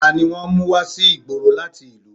Tani wọ́n mú wá sí ìgboro láti ìlú?